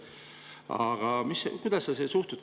Aga kuidas sa sellesse suhtud?